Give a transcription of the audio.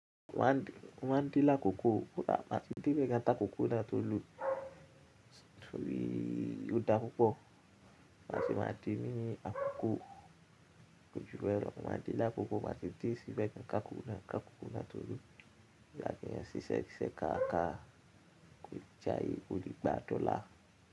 Mo máa ń dín lákòókò, mo máa ń dín ìbẹ̀ ta kòkò náà tó lò tòrí ó da púpọ̀. Màá ti máa dín nínú àkókò ojúwe lọ́kàn, màá dín lákòókò, màá ti dín síbẹ̀ ká kòkò náà, ká kòkò náà tó lù Láti yẹn ṣiṣẹ́ ṣiṣẹ́ ká ká, kó jayé kó rí gbàdọlá.